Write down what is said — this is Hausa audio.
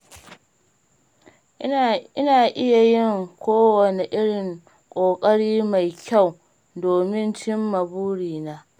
Ina iya yin kowane irin ƙoƙari mai kyau domin cimma burina.